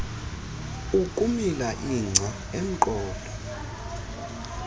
ukumila ingca emqolo